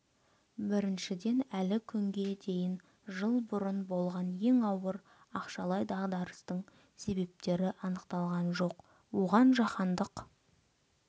біріншіден әлі күнге дейін жыл бұрын болған ең ауыр ақшалай дағдарыстың себептері анықталған жоқ оған жаһандық